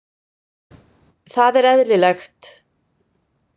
Það er eðlilegt.